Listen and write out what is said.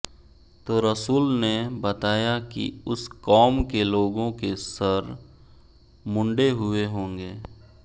तो रसुलने बताया किउस कौम के लोगों के सर मुंडे हुए होंगे